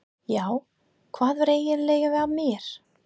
Já, hvað var eiginlega að mér?